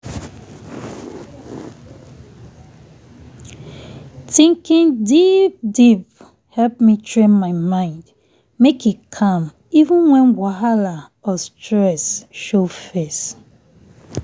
thinking deep deepe help me train my mind make e calm even when whahala or stress show face